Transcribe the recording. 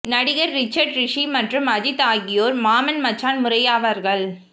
நடிகர் ரிச்சர்ட் ரிஷி மற்றும் அஜித் ஆகியோர் மாமன் மச்சான் முறையாவார்கள்